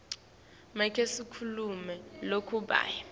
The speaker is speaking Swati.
make sikhulumi lokabuye